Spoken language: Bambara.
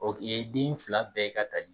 i ye den fila bɛɛ ka tali